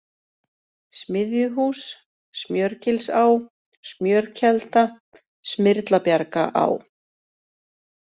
Smiðjuhús, Smjörgilsá, Smjörkelda, Smyrlabjargaá